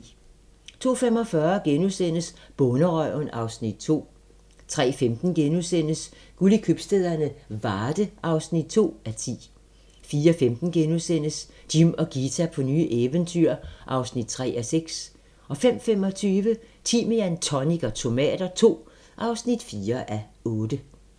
02:45: Bonderøven (Afs. 2)* 03:15: Guld i købstæderne - Varde (2:10)* 04:15: Jim og Ghita på nye eventyr (3:6)* 05:25: Timian, tonic og tomater II (4:8)